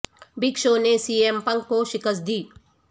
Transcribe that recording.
big Show نے C M Punk کو شکست دی